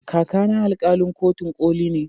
Kaka na alkalin kotun koli ne